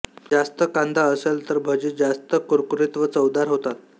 जास्त कांदा असेल तर भजी जास्त कुरकुरीत व चवदार होतात